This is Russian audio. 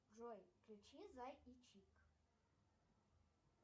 джой включи зай и чик